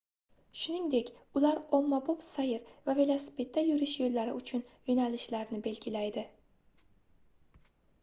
shuningdek ular ommabop sayr va velosipedda yurish yoʻllari uchun yoʻnalishlarni belgilaydi